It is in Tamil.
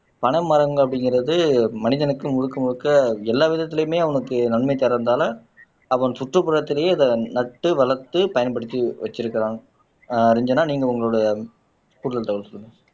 பனைமரம் அப்படிங்கிறது மனிதனுக்கு முழுக்க முழுக்க எல்லா விதத்திலயுமே அவனுக்கு நன்மை தர்றதால அவன் சுற்றுப்புறத்திலேயே அதை நட்டு வளர்த்து பயன்படுத்தி வச்சிருக்கான் ரட்சனா நீங்க உங்களுடைய கூடுதல் தகவல் சொல்லுங்க